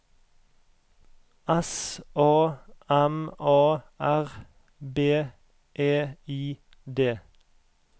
S A M A R B E I D